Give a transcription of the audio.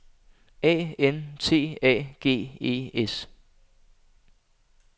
A N T A G E S